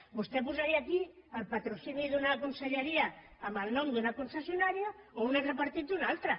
vostè posaria aquí el patrocini d’una conselleria amb el nom d’un concessionària o un altre partit d’una altra